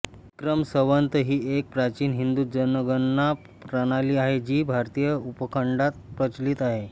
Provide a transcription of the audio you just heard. विक्रम संवत ही एक प्राचीन हिंदू जनगणना प्रणाली आहे जी भारतीय उपखंडात प्रचलित आहे